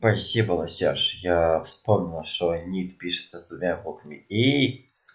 спасибо лосяш я вспомнила что нить пишется с двумя буквами и